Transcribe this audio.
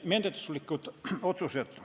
Menetluslikud otsused.